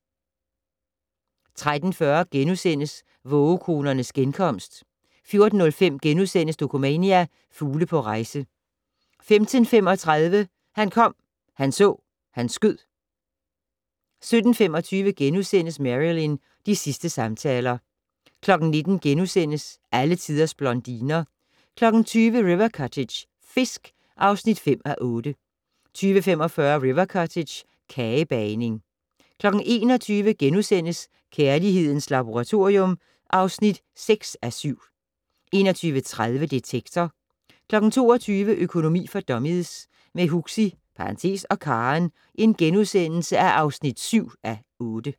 13:40: Vågekonernes genkomst * 14:05: Dokumania: Fugle på rejse * 15:35: Han kom, han så, han skød 17:25: Marilyn - de sidste samtaler * 19:00: Alle tiders blondiner * 20:00: River Cottage - fisk (5:8) 20:45: River Cottage - kagebagning 21:00: Kærlighedens Laboratorium (6:7)* 21:30: Detektor 22:00: Økonomi for dummies - med Huxi (og Karen) (7:8)*